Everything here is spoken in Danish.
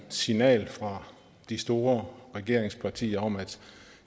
signal fra de store regeringspartier om at